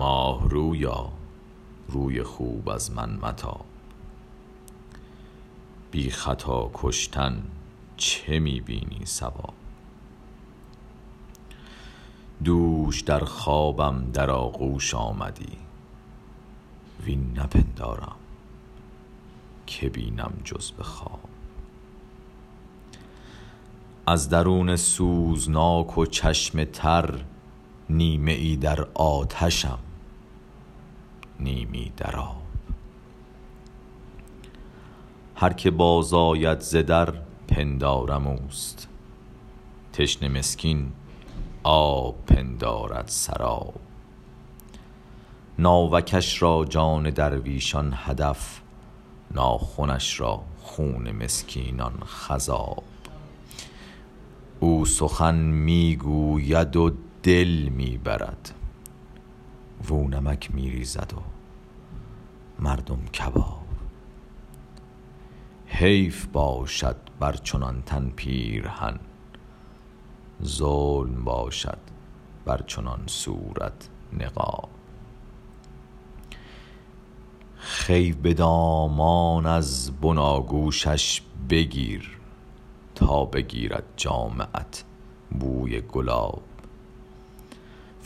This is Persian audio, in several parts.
ماه رویا روی خوب از من متاب بی خطا کشتن چه می بینی صواب دوش در خوابم در آغوش آمدی وین نپندارم که بینم جز به خواب از درون سوزناک و چشم تر نیمه ای در آتشم نیمی در آب هر که باز آید ز در پندارم اوست تشنه مسکین آب پندارد سراب ناوکش را جان درویشان هدف ناخنش را خون مسکینان خضاب او سخن می گوید و دل می برد واو نمک می ریزد و مردم کباب حیف باشد بر چنان تن پیرهن ظلم باشد بر چنان صورت نقاب خوی به دامان از بناگوشش بگیر تا بگیرد جامه ات بوی گلاب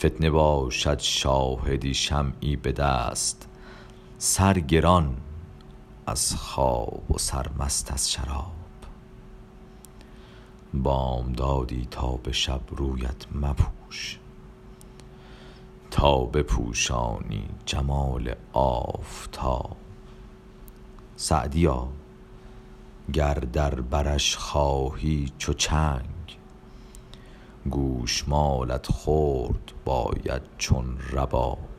فتنه باشد شاهدی شمعی به دست سرگران از خواب و سرمست از شراب بامدادی تا به شب رویت مپوش تا بپوشانی جمال آفتاب سعدیا گر در برش خواهی چو چنگ گوش مالت خورد باید چون رباب